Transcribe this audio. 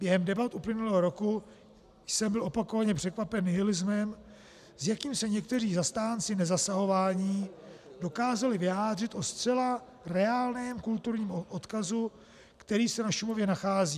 Během debat uplynulého roku jsem byl opakovaně překvapen nihilismem, s jakým se někteří zastánci nezasahování dokázali vyjádřit o zcela reálném kulturním odkazu, který se na Šumavě nachází.